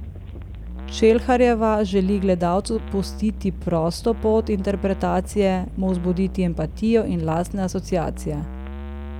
Čelharjeva želi gledalcu pustiti prosto pot interpretacije, mu vzbuditi empatijo in lastne asociacije.